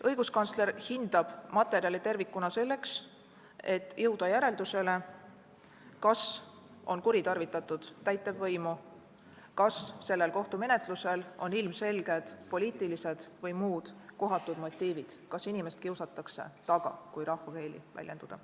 Õiguskantsler hindab materjali tervikuna selleks, et jõuda järeldusele, kas on kuritarvitatud täitevvõimu, kas sellel kohtumenetlusel on ilmselged poliitilised või muud kohatud motiivid – kas inimest kiusatakse taga, kui rahvakeeli väljendada.